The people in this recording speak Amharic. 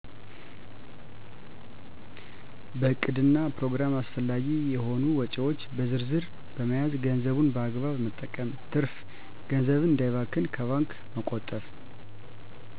በዕቅድና ፕሮግራም አስፈላጊ የሆኑ ወጭዎች በዝርዝ በመያዝ ገንዘቡን በአግባቡ መጠቀም ትርፍ ገንዘብን እንዳይባክን ከባንክ መቆጠብ